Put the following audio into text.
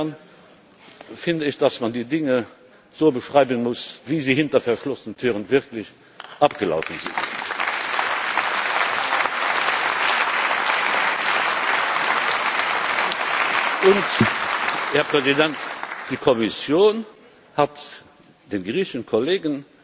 Insofern finde ich, dass man die Dinge so beschreiben muss, wie sie hinter verschlossenen Türen wirklich abgelaufen sind. Die Kommission hat den griechischen Kollegen